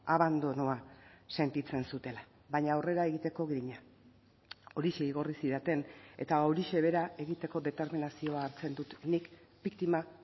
abandonoa sentitzen zutela baina aurrera egiteko grina horixe igorri zidaten eta horixe bera egiteko determinazioa hartzen dut nik biktima